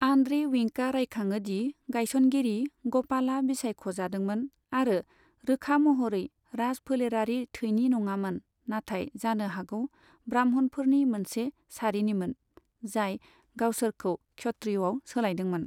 Andre विंकआ रायखाङो दि गायसनगिरि, ग'पालआ बिसायख'जादोंमोन, आरो रोखा महरै राजफोलेरारि थैनि नङामोन, नाथाय जानो हागौ ब्राह्मणफोरनि मोनसे सारिनिमोन, जाय गावसोरखौ क्षत्रियआव सोलायदोंमोन।